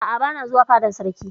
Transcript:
A'a, bana zuwa fadan sarki.